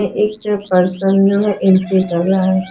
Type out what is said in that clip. एक person entry कर रहा है।